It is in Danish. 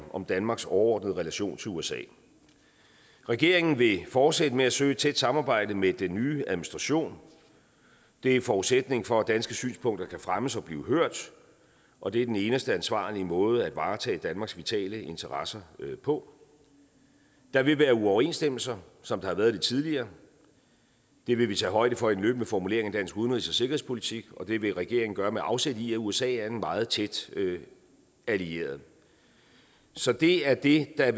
om danmarks overordnede relation til usa regeringen vil fortsætte med at søge et tæt samarbejde med den nye administration det er forudsætningen for at danske synspunkter kan fremmes og blive hørt og det er den eneste ansvarlige måde at varetage danmarks vitale interesser på der vil være uoverensstemmelser som der har været det tidligere det vil vi tage højde for i den løbende formulering af dansk udenrigs og sikkerhedspolitik og det vil regeringen gøre med afsæt i at usa er en meget tæt allieret så det er det der